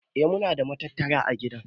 Eh muna da matattara ã gida.